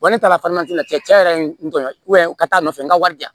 ne taara la cɛn cɛn na yɛrɛ n tɔɲɔgɔn u ka taa nɔfɛ n ka wari di yan